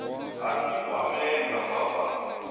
a si kwamee kha phambano